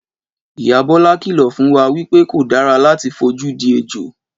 Ìyá Bọlá kìlọ̀ fún wa wí pé kò dára láti fojú di ejò